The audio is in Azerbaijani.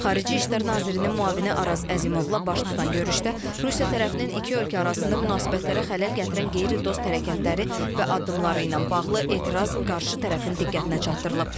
Xarici İşlər Nazirinin müavini Araz Əzimovla baş tutan görüşdə Rusiya tərəfinin iki ölkə arasında münasibətlərə xələl gətirən qeyri-dost hərəkətləri və addımları ilə bağlı etiraz qarşı tərəfin diqqətinə çatdırılıb.